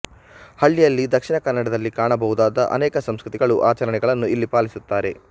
ಹಳ್ಳಿಯಲ್ಲಿ ದಕ್ಷಿಣ ಕನ್ನಡದಲ್ಲಿ ಕಾಣಬಹುದಾದ ಅನೇಕ ಸಂಸ್ಕೃತಿಗಳು ಆಚರಣೆಗಳನ್ನು ಇಲ್ಲಿ ಪಾಲಿಸುತ್ತಾರೆ